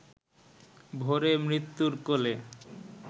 ভোরে মৃত্যুর কোলে